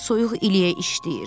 Soyuq iliyə işləyir.